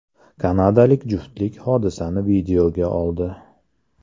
Kanadalik juftlik hodisani videoga oldi.